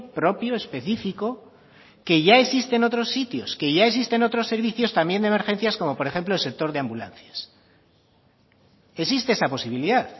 propio específico que ya existe en otros sitios que ya existe en otros servicios también de emergencias como por ejemplo el sector de ambulancias existe esa posibilidad